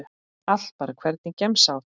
Allt bara Hvernig gemsa áttu?